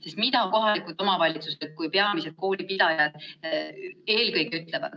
Sest mida kohalikud omavalitsused kui peamised koolipidajad eelkõige ütlevad?